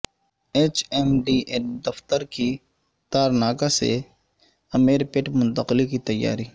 H M D A دفتر کی تارناکہ سے امیرپیٹ منتقلی کی تیاری